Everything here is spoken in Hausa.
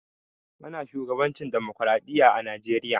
Ana shugabancin demokradiyya a najeriya.